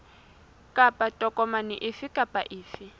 kapa tokomane efe kapa efe